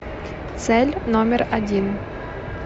цель номер один